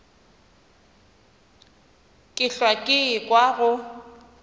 ke hlwa ke ekwa go